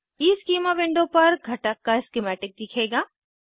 schema window पर घटक का स्किमैटिक दिखेगा